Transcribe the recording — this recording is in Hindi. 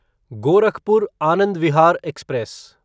गोरखपुर आनंद विहार एक्सप्रेस